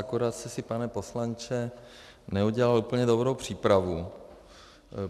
Akorát jste si, pane poslanče, neudělal úplně dobrou přípravu.